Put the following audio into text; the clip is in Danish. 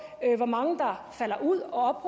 hvor mange der falder ud og